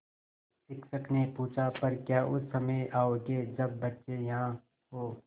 शिक्षक ने पूछा पर क्या उस समय आओगे जब बच्चे यहाँ हों